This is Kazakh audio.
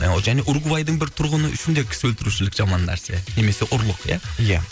і және уругвайдың бір тұрғыны үшін де кісі өлтірушілік жаман нәрсе немесе ұрлық ия ия